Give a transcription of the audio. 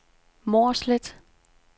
Mårslet